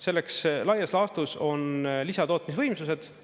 Selleks laias laastus on lisatootmisvõimsused.